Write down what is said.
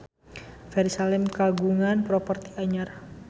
Ferry Salim kagungan properti anyar